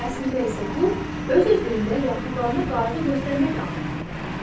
Əslində isə bu öz sözlüyündə yaxınlarına qayğı göstərmək anlamına gəlir.